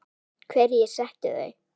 Hverjir settu þau?